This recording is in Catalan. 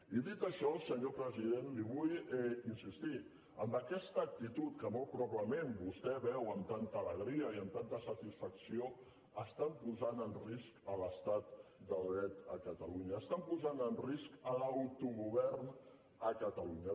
i dit això senyor president l’hi vull insistir amb aquesta actitud que molt probablement vostè veu amb tanta alegria i tanta satisfacció posen en risc l’estat de dret a catalunya posen en risc l’autogovern a catalunya